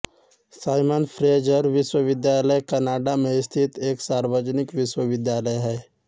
Simon Fraser विश्वविद्यालय Canada में स्थित एक सार्वजनिक विश्वविद्यालय है